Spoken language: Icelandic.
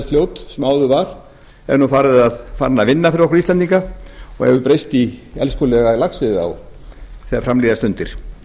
skaðræðisfljót sem áður var er nú farið að vinna fyrir okkur íslendinga og hefur breyst í elskulega laxveiðiá þegar fram líða stundir